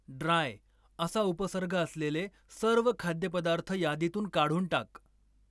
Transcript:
dry असा उपसर्ग असलेले सर्व खाद्यपदार्थ यादीतून काढून टाक